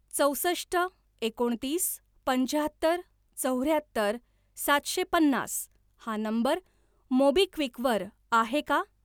चौसष्ट एकोणतीस पंच्याहत्तर चौऱ्याहत्तर सातशे पन्नास हा नंबर मोबिक्विक वर आहे का?